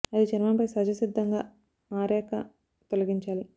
అది చర్మం పై సహజ సిద్దంగా ఆరాక తొలగించాలి